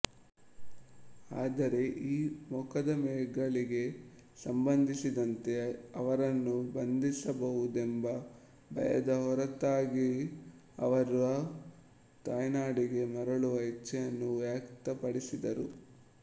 ಆದರೆ ಈ ಮೊಕದ್ದಮೆಗಳಿಗೆ ಸಂಬಂಧಿಸಿದಂತೆ ಅವರನ್ನು ಬಂಧಿಸಬಹುದೆಂಬ ಭಯದ ಹೊರತಾಗಿಯುಅವರು ತಾಯ್ನಾಡಿಗೆ ಮರಳುವ ಇಚ್ಛೆಯನ್ನು ವ್ಯಕ್ತಪಡಿಸಿದ್ದಾರೆ